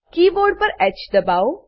keyboard પર હ દબાઓ